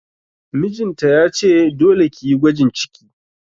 Mijin ta ya ce 'Dole ki yi gwajin ciki'!